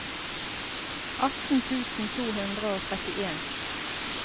atten tusen to hundre og trettien